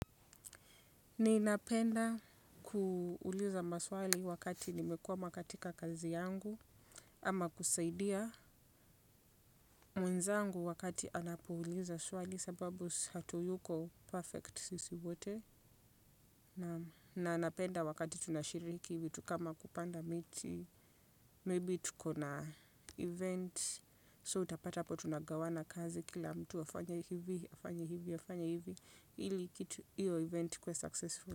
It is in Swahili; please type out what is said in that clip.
Ninapenda kuuliza maswali wakati nimekwama katika kazi yangu ama kusaidia mwenzangu wakati anapoulizwa swali sababu hatuyuko perfect sisi wote na anapenda wakati tunashiriki vitu kama kupanda miti, maybe tuko na event so utapata apo tunagawana kazi kila mtu afanye hivi, afanye hivi, afanye hivi, ili kitu, iyo event ikue successful.